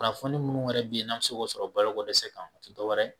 Kunnafoni munnu wɛrɛ be yen n'an mi se k'o sɔrɔ balo ko dɛsɛ kan o ti dɔwɛrɛ ye